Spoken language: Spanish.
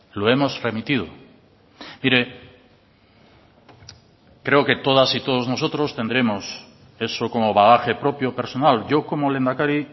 lo hemos remitido mire creo que todas y todos nosotros tendremos eso como bagaje propio personal yo como lehendakari